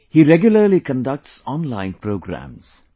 He regularly conducts online programmes